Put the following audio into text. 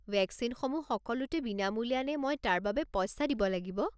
ভেকচিনসমূহ সকলোতে বিনামূলীয়া নে মই তাৰ বাবে পইচা দিব লাগিব?